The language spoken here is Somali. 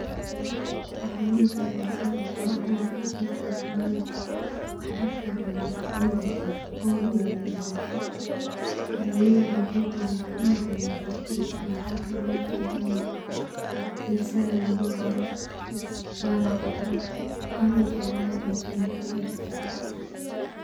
Waxan ujecla sababto ah waa qudrad caafimad leh marka cuno waxan dareema on iyo deegnansho wuxuu leyahay biyo badan wuxuna caawiya defshidka, waxa kale uu u fican yahay in >cs[salad lugu daaro wana qudrad an ujeclahay cuntooyinka